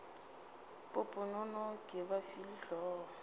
poponono ke ba file hlogo